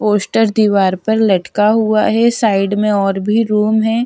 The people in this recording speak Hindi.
पोस्टर दिवार पर लटका हुआ है साइड और भी रूम हैं --